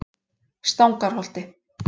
Stangarholti